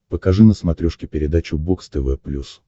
покажи на смотрешке передачу бокс тв плюс